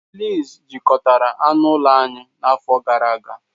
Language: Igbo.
Fleas jikọtara anụ ụlọ anyị n'afọ gara aga